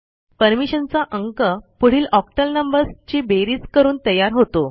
परमिशनचा अंक पुढील octal numbers ची बेरीज करून तयार होतो